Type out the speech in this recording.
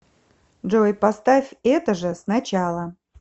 джой поставь это же сначала